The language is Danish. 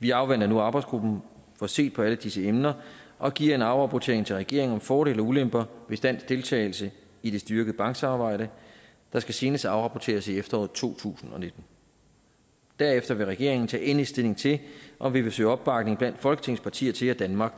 vi afventer nu at arbejdsgruppen får set på alle disse emner og giver en afrapportering til regeringen om fordele og ulemper ved dansk deltagelse i det styrkede banksamarbejde der skal senest afrapporteres i efteråret to tusind og nitten derefter vil regeringen tage endelig stilling til om vi vil søge opbakning blandt folketingets partier til at danmark